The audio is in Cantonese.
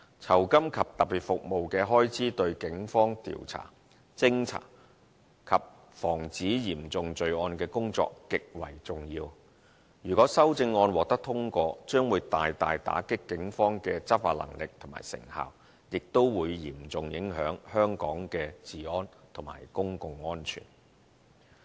酬金及特別服務的開支對警方調查、偵查及防止嚴重罪案的工作極為重要，如果修正案獲得通過，將會大大打擊警方的執法能力和成效，亦會嚴重影響香港的治安和公共安全。